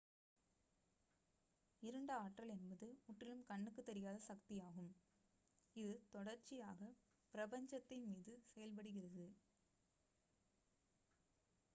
இருண்ட ஆற்றல் என்பது முற்றிலும் கண்ணுக்குத் தெரியாத சக்தியாகும் இது தொடர்ச்சியாகப் பிரபஞ்சத்தின் மீது செயல்படுகிறது